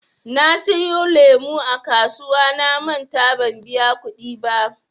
Na siyo lemu a kasuwa namanta ban biya kuɗi ba.